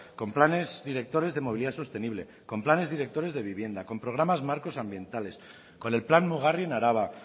con planes directores de movilidad sostenible con planes directores de vivienda con programas marcos ambientales con el plan mugarri en araba